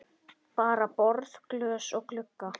Bara borð, glös og glugga.